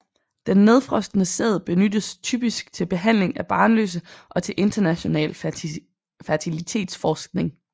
Den nedfrosne sæd benyttes typisk til behandling af barnløse og til international fertilitetsforskning